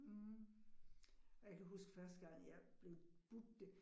Mh og jeg kan huske første gang, jeg blev budt det